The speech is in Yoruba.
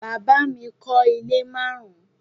Bàbá mi kọ́ ilé márùn-ún